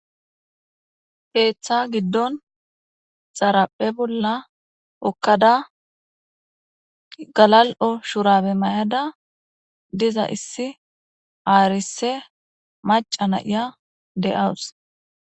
Keththa giddon dharappe bolla hokkada gaalalo shurabbe mayadda dizza issi arisse mac'a na'aya de'asu.